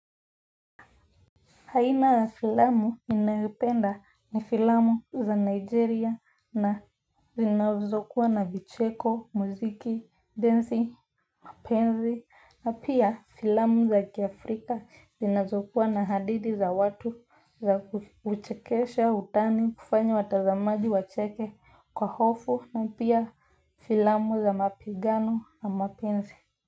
Aina ya filamu ninayopenda ni filamu za Nigeria na zinazokuwa na vicheko, muziki, dancing, penzi, na pia filamu za kiafrika zinazokuwa na hadithi za watu za kuchekesha, utani, kufanya watazamaji, wacheke, kwa hofu, na pia filamu za mapigano na mapenzi.